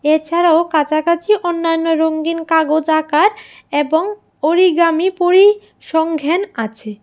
এছাড়াও কাছাকাছি অন্যান্য রঙ্গিন কাগজ আঁকার এবং অরিগামি পরিসংঘ্যান আছে।